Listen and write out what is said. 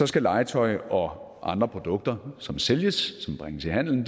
skal legetøj og andre produkter som sælges som bringes i handelen